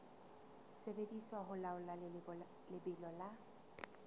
sebediswa ho laola lebelo la